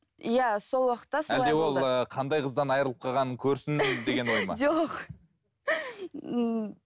иә сол уақытта әлде ол ыыы қандай қыздан айрылып қалғанын көрсін деген ой ма жоқ ммм